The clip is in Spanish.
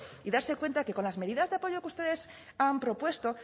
y darse cuenta que con las medidas de apoyo que ustedes han propuesto